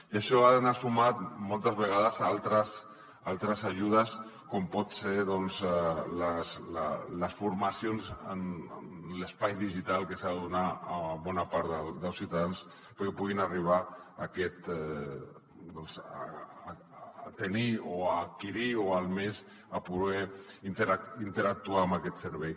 i això ha d’anar sumat moltes vegades a altres ajudes com poden ser doncs les formacions en l’espai digital que s’han de donar a bona part dels ciutadans perquè puguin arribar a tenir o a adquirir o almenys a poder interactuar amb aquest servei